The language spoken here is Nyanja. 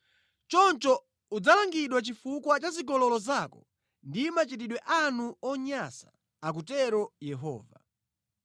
Choncho udzalangidwa chifukwa cha zigololo zako ndi machitidwe anu onyansa, akutero Yehova.